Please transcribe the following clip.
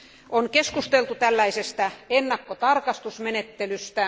On keskusteltu tällaisesta ennakkotarkastusmenettelystä.